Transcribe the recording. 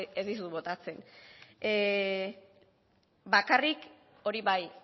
ez dizut botatzen bakarrik hori bai